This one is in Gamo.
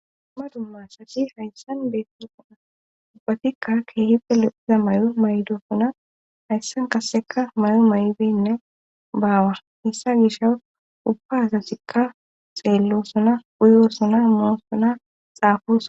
Duma dumma asasi hayssan beessoa ubbatikka keehi peloqiza may7o maydo suna hayssan kasseka may7o may7denne baawar hissa gisha ubba sasikka xeello suna uyor suna moo suna xaafu